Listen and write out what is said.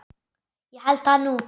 Ég held það nú!